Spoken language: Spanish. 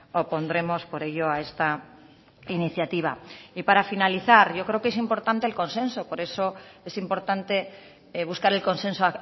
opondremos por ello a esta iniciativa y para finalizar yo creo que es importante el consenso por eso es importante buscar el consenso